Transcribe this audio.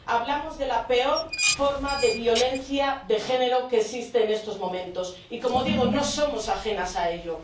Hablamos de la peor forma de violencia de género que existe en estos momentos y —como digo— no somos ajenas a ello.